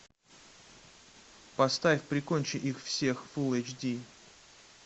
поставь прикончи их всех фулл эйч ди